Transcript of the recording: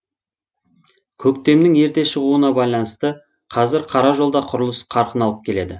көктемнің ерте шығуына байланысты қазір қара жолда құрылыс қарқын алып келеді